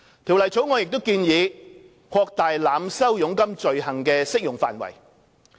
《條例草案》亦建議擴大濫收佣金罪行的適用範圍。